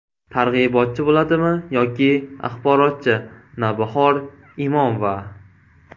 Targ‘ibotchi bo‘ladimi yoki axborotchi?” – Navbahor Imomova.